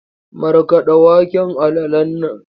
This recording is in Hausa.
Markaɗa waken alalan nan!